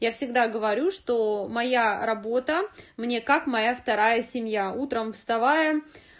я всегда говорю что моя работа мне как моя вторая семья утром вставая